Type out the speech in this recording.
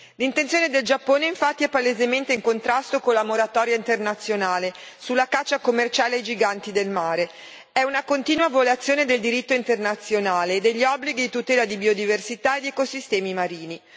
L'intenzione del Giappone, infatti, è palesemente in contrasto con la moratoria internazionale sulla caccia commerciale ai giganti del mare, è una continua violazione del diritto internazionale e degli obblighi di tutela di biodiversità e di ecosistemi marini.